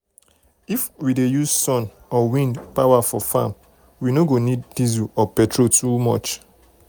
if we dey use sun or wind power for farm we no go need diesel or petrol too much.